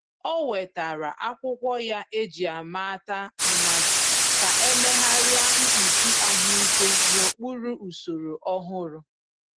O wetara akwụkwọ ya eji-amata mmadụ ka e meegharia mkpuchi ahụike n’okpuru usoro ọhụrụ.